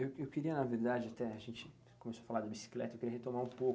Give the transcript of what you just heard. eu queria, na verdade, até a gente começou a falar da bicicleta, eu queria retomar um pouco.